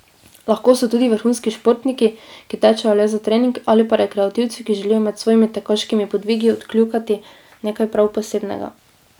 Lahko so tudi vrhunski športniki, ki tečejo le za trening, ali pa rekreativci, ki želijo med svojimi tekaškimi podvigi odkljukati nekaj prav posebnega.